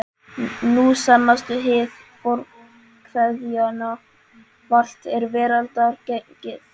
Nú sannast hið fornkveðna: Valt er veraldar gengið.